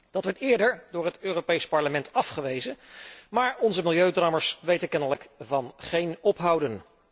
Dat werd eerder door het Europees Parlement afgewezen, maar onze 'milieudrammers' weten kennelijk van geen ophouden.